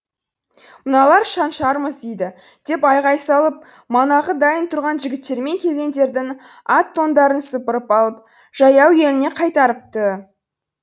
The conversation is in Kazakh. мыналар шаншармыз дейді деп айғай салып манағы дайын тұрған жігіттермен келгендердің ат тондарын сыпырып алып жаяу еліне қайтарыпты